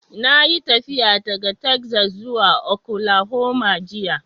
Na yi tafiya daga Texas zuwa Oklahoma jiya